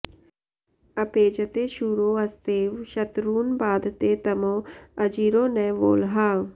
अपे॑जते॒ शूरो॒ अस्ते॑व॒ शत्रू॒न्बाध॑ते॒ तमो॑ अजि॒रो न वोळ्हा॑